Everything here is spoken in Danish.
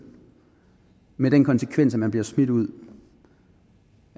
med den konsekvens at man bliver smidt ud